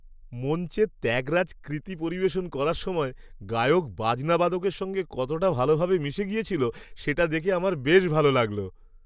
মঞ্চে ত্যাগরাজ কৃতি পরিবেশন করার সময় গায়ক বাজনা বাদকদের সঙ্গে কতটা ভালভাবে মিশে গেছিল সেটা দেখে আমার বেশ ভালো লাগল।